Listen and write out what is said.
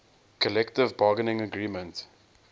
collective bargaining agreement